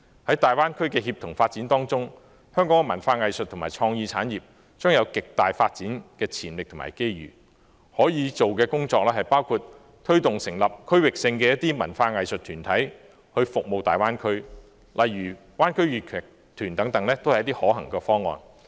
在大灣區的協同發展之中，香港的文化藝術和創意產業將有極大的發展潛力和機遇，可以做的工作包括推動成立區域性的文化藝術團體為大灣區服務，例如灣區粵劇團等，都是一些可行的方案。